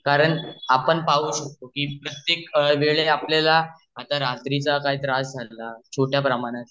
कारण आपण पाहू शकतो की प्रत्येक वेळला आपल्याला काही त्रास झला छोट्या प्रमाणात